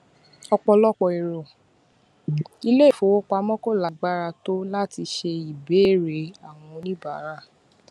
ọpọlọpọ ẹrọ ilé ìfowópamọ ko lagbara tó láti ṣe ìbéèrè àwọn oníbàárà